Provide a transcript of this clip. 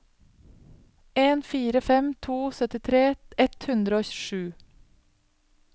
en fire fem to syttitre ett hundre og sju